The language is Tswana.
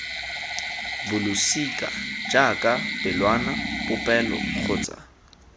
bolosika jaaka pelwana popelo kgotsa